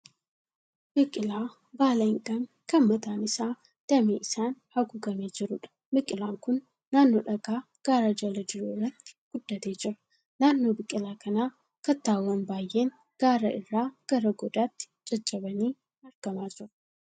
Biqilaa baala hin qabne kan mataan isaa damee isaan haguugamee jiruudha. Biqilaan kun naannoo dhagaa gaara jala jiru irratti guddatee jira. Naannoo biqilaa kanaa kattaawwan baay'een gaara irraa gara goodaatti caccabanii argamaa jiru.